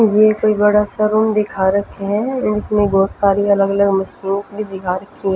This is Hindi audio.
यह कोई बड़ा सा रूम दिखा रखे है इसमें बहुत सारी अलग-अलग मशीन्स भी दिखा रखी है।